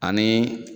Ani